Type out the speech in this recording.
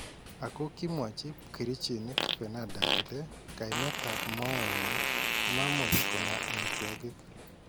Ako kimwachi pkerichiniik Fernanda kole kaimeetab mooet nyin komamuch kong'aa amitwokik